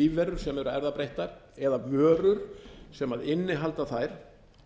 lífverur sem eru erfðabreyttar eða vörur sem innihalda þær